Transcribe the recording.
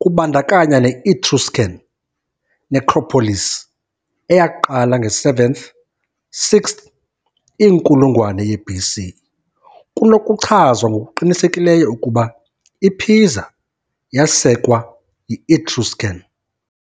kubandakanya ne-Etruscan necropolis eyaqala nge-7th, -6th inkulungwane ye-BC, kunokuchazwa ngokuqinisekileyo ukuba iPisa yasekwa yi-Etruscan.